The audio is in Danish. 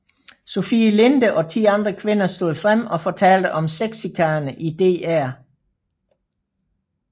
Sofie Linde og ti andre kvinder stod frem og fortalte om sexchikane i DR